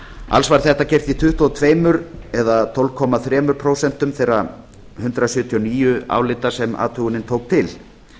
alls var þetta gert í tuttugu og tvö eða tólf komma þrjú prósent þeirra hundrað sjötíu og níu álita sem athugunin tók til